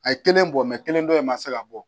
A ye kelen bɔ kelen dɔ in ma se ka bɔ